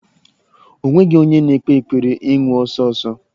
O nweghi onye na-ekpe ekpere ịnwụ ọsọ ọsọ.